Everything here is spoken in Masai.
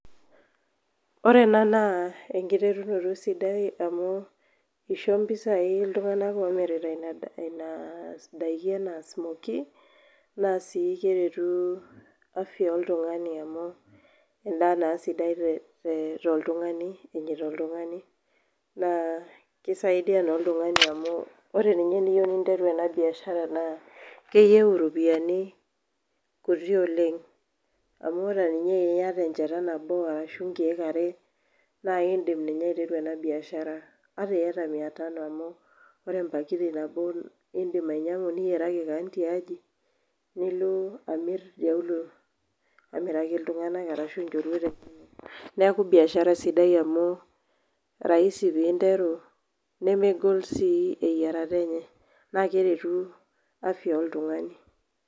Ore ena naa enkiterunoto sidai amu isho mpisai iltung'anak omirita ina daiki enaa smoky, naa si keretu afya oltung'ani amu endaa naa sidai toltung'ani enyita oltung'ani. Naa kisaidia naa oltung'ani amu ore ninye teniyieu ninteru enabiashara naa, keyieu iropiyiani kuti oleng, amu ata ninye teniata enchata nabo arashu nkeek are, na idim ninye aiteru enabiashara. Ata iyata mia tano amu ore empakiti nabo idim ainyang'u niyiaraki keon tiaji, nilo amir tiauluo amiraki iltung'anak arashu inchorueta inonok. Neeku biashara sidai amu, rahisi pinteru nemegol si eyiarata enye na keretu afya oltung'ani.